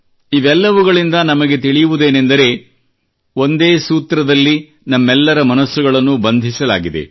ಇವೆಲ್ಲವುಗಳಿಂದ ನಮಗೆ ತಿಳಿಯುವುದೇನೆಂದರೆ ಒಂದೇ ಸೂತ್ರದಲ್ಲಿ ನಮ್ಮೆಲ್ಲರ ಮನಸ್ಸುಗಳನ್ನು ಬಂಧಿಸಲಾಗಿದೆ